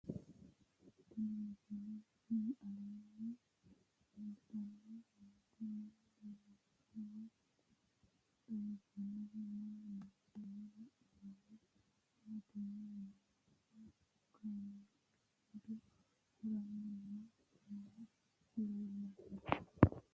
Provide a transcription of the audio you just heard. Tenni misile aleenni leelittanni nootti maa leelishshanno woy xawisannori may noosse yinne la'neemmori maattiya yinummoro kaammelu seedu haranni noohu leellanno